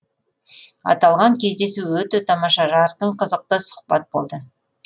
аталған кездесу өте тамаша жарқын қызықты сұхбат болды